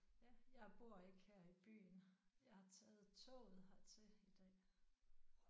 Ja jeg bor ikke her i byen. Jeg har taget toget hertil i dag